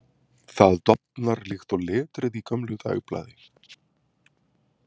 Það dofnar líkt og letrið í gömlu dagblaði.